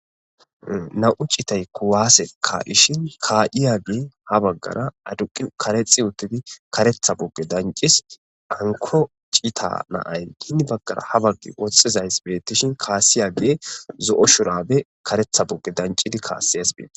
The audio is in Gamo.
Naa7u cithay kuwaase kaa7shin kaa7iyaagee ha baggara aduqqi karexxi uththidi kareththa qophe danccis; hankko cithaa na7ay hini baggaara haa woxxizay beeththishin kaassiyaagaa zo7o shuraabe kareththa qophe danccidi kaasses.